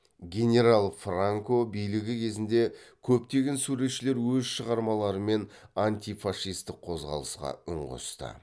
генерал франко билігі кезінде көптеген суретшілер өз шығарм мен антифашистік қозғалысқа үн қосты